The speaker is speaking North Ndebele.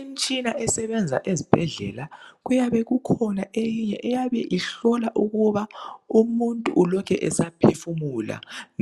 Imtshina esebenza ezibhedlela kuyabe kukhona eyinye eyabe ihlola ukuba umuntu ulokhe esaphefumula